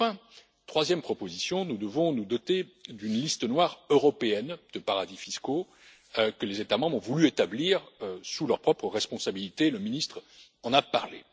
Enfin, c'est ma troisième proposition, nous devons nous doter d'une liste noire européenne de paradis fiscaux que les États membres ont voulu établir sous leur propre responsabilité, le ministre en a parlé.